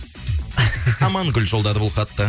амангүл жолдады бұл хатты